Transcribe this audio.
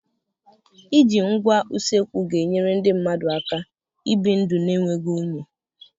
Iji ngwa usekwu ga-enyere ndị mmadụ aka ibi ndụ na-enweghị unyi.